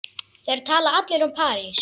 Þeir tala allir um París.